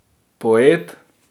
Poet.